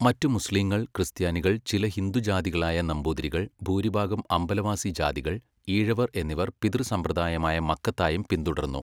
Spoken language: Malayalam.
മറ്റു മുസ്ലീങ്ങൾ, ക്രിസ്ത്യാനികൾ, ചില ഹിന്ദു ജാതികളായ നമ്പൂതിരികൾ, ഭൂരിഭാഗം അംബലവാസി ജാതികൾ, ഈഴവർ എന്നിവർ പിതൃസമ്പ്രദായമായ മക്കത്തായം പിന്തുടർന്നു.